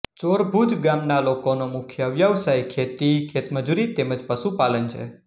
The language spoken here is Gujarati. ચોરભુજ ગામના લોકોનો મુખ્ય વ્યવસાય ખેતી ખેતમજૂરી તેમ જ પશુપાલન છે